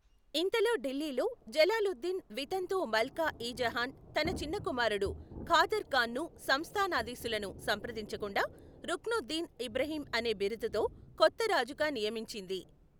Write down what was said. ఇంతలో ఢిల్లీలో, జలాలుద్దీన్ వితంతువు మల్కా ఇ జహాన్ తన చిన్న కుమారుడు ఖాదర్ ఖాన్ను సంస్థానాదీసులను సంప్రదించకుండా రుక్నుద్దీన్ ఇబ్రహీం అనే బిరుదుతో కొత్త రాజుగా నియమించింది.